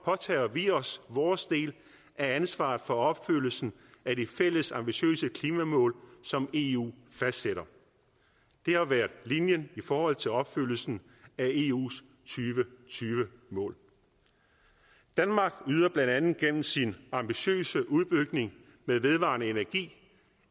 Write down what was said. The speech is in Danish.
påtager vi os vores del af ansvaret for opfyldelsen af de fælles ambitiøse klimamål som eu fastsætter det har været linjen i forhold til opfyldelsen af eus og tyve mål danmark yder blandt andet gennem sin ambitiøse udbygning med vedvarende energi